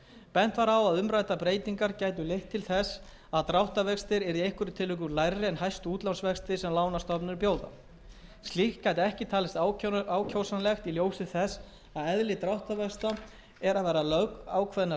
bent var á að umræddar breytingar gætu leitt til þess að dráttarvextir yrðu í einhverjum tilvikum lægri en hæstu útlánsvextir sem lánastofnanir bjóða slíkt gæti ekki talist ákjósanlegt í ljósi þess að eðli dráttarvaxta er að vera lögákveðnar